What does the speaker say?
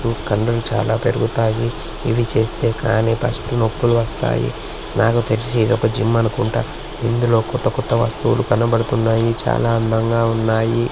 ఊ కండలు చాలా పెరుగుతాయి. ఇవి చేస్తే కానీ ఫస్ట్ నొప్పులు వస్తాయి. నాకు తెలిసి ఇది ఒక జిమ్ అనుకుంటా. ఇందులో కొత్త కొత్త వస్తువులు కనబడుతున్నాయి. చాలా అందంగా ఉన్నాయి.